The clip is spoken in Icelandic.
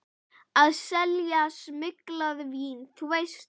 Að selja smyglað vín, þú veist.